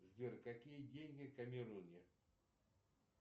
сбер какие деньги в камеруне